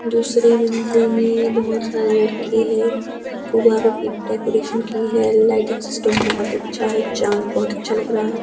दूसरी मंजिल में बहोत सारे लड़के है गुब्बारों की डेकोरेशन की है लाइटिंग सिस्टम बहोत है चांद बहोत अच्छा लग रहा है।